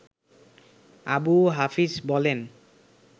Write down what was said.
আবু হাফিজ বলেন